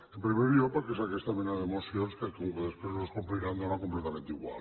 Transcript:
en primer lloc perquè és d’aquesta mena de mocions que com que després no es compliran dóna completament igual